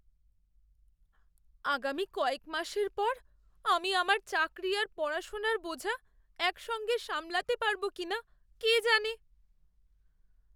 আগামী কয়েক মাসের পর আমি আমার চাকরি আর পড়াশোনার বোঝা একসঙ্গে সামলাতে পারবো কিনা কে জানে!